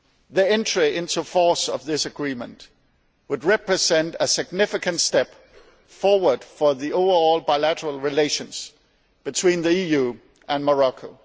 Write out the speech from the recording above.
The entry into force of this agreement would represent a significant step forward for overall bilateral relations between the EU and Morocco.